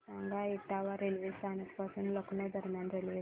सांगा इटावा रेल्वे स्थानक पासून लखनौ दरम्यान रेल्वेगाडी